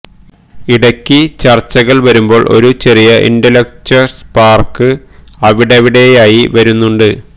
ഇടയ്ക്ക് ചര്ച്ചകള് വരുമ്പോള് ഒരു ചെറിയ ഇന്റലക്ച്വല് സ്പാര്ക്ക് അവിടവിടെയായി വരുന്നുണ്ട്